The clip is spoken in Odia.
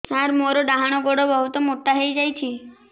ସାର ମୋର ଡାହାଣ ଗୋଡୋ ବହୁତ ମୋଟା ହେଇଯାଇଛି